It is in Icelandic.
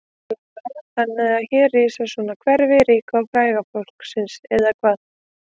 Lára: Þannig að hér er rísa svona hverfi ríka og fræga fólksins eða hvað?